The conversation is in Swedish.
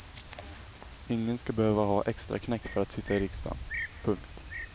Ingen ska behöva ha extraknäck för att sitta i riksdagen. punkt